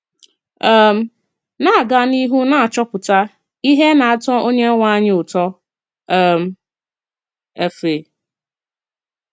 um “Na-agà n’ihu na-achọpụta ihe nā-ató Onyenwe anyị ụtọ.” um — EFE.